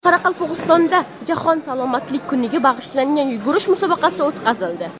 Qoraqalpog‘istonda Jahon salomatlik kuniga bag‘ishlangan yugurish musobaqasi o‘tkazildi.